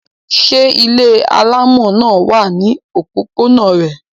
Ṣé ilé alámọ̀ náà wà ní òpópónà rẹ?